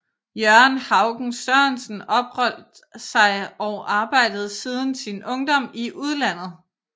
Jørgen Haugen Sørensen opholdt sig og arbejdede siden sin ungdom i udlandet